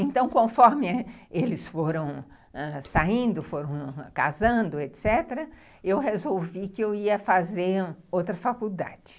Então, conforme eles foram saindo, foram casando, etc., eu resolvi que eu ia fazer outra faculdade.